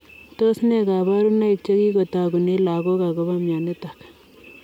Tos nee kabarunoik chekikotagunee lagok agopo mionitok?